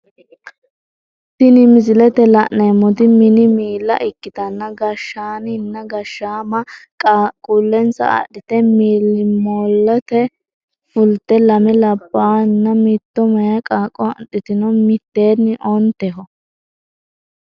Tini misilete la`neemoti mini miila ikitanna gashaaninna gashaama qaqullensa adhite milimilote fulte lame labawohana mittoe meyaa qaaqo adhitino miteeni onteho.